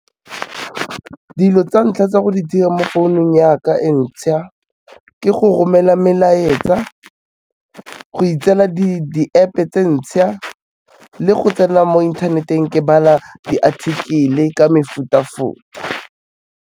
Dilo tsa ntlha tsa go di dira mo founong ya ka e ntšha, ke go romela melaetsa, go itseela di-App-e tse ntšha, le go tsena mo inthaneteng ke bala di-article-e ka mefuta-futa.